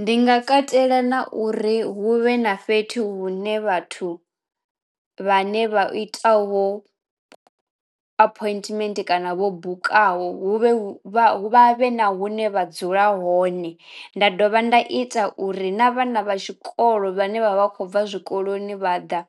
Ndi nga katela na uri hu vhe na fhethu hune vhathu vhane vha itaho appointment kana vho bukaho hu vhe hu vha vha vhe na hune vha dzula hone. Nda dovha nda ita uri na vhana vha tshikolo vhane vha vha khou bva zwikoloni vha ḓa